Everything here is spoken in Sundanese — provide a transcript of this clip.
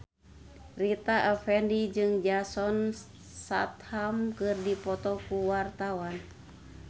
Rita Effendy jeung Jason Statham keur dipoto ku wartawan